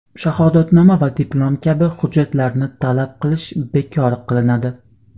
shahodatnoma va diplom kabi hujjatlarni talab qilish bekor qilinadi;.